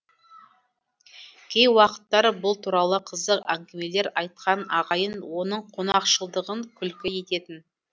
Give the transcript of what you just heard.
кей уақыттар бұл туралы қызық әңгімелер айтқан ағайын оның қонақшылдығын күлкі ететін